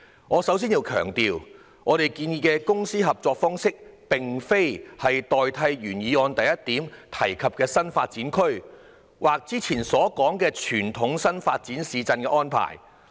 我首先要強調，我們建議的公私營合作方式並非要代替原議案第一點提及的"新發展區"，或以往所說的傳統新市鎮發展模式。